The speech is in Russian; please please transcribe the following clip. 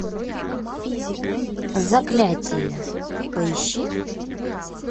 заклятие поищи